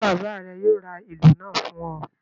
Ṣé bàbá rẹ yóò ra ìlù náà fún ọ.